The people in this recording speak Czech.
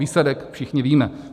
Výsledek všichni víme.